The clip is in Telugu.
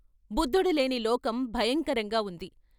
బుద్ధుడులేని లోకం భయకరంగా ఉంది.